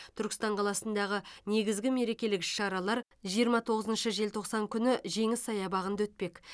түркістан қаласындағы негізгі мерекелік іс шаралар жиырма тоғыз желтоқсан күні жеңіс саябағында өтпек